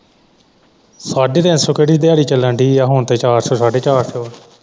ਸਾਢੇ ਤਿੰਨ ਸੋ ਕਿਹੜੀ ਦਿਆੜੀ ਚੱਲਣ ਦੀ ਹੈ ਹੁਣ ਤੇ ਚਾਰ ਸੋ ਸਾਢੇ ਚਾਰ ਸੋ ਹੈ।